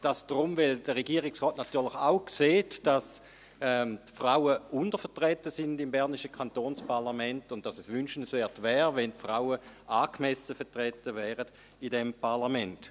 Dies deshalb, weil der Regierungsrat natürlich auch sieht, dass die Frauen im bernischen Kantonsparlament untervertreten sind und dass es wünschenswert wäre, dass die Frauen angemessen vertreten wären in diesem Parlament.